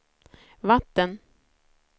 vatten